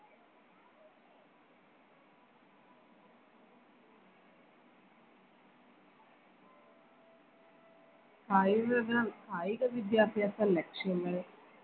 കായിക വിദ്യാഭ്യാസ ലക്ഷ്യങ്ങൾ